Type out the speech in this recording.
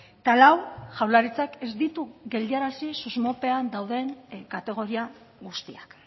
eta lau jaurlaritzak ez ditu geldiarazi susmopean dauden kategoria guztiak